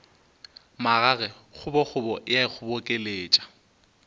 magage kgobokgobo e a ikgobokeletša